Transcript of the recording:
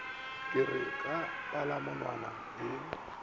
ke re ka palamonwana ye